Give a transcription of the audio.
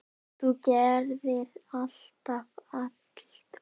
Þú gerðir alltaf allt betra.